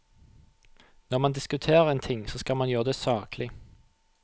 Når man diskuterer en ting, så skal man gjøre det saklig.